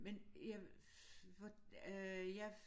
Men jeg hvor øh jeg